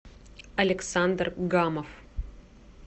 александр гамов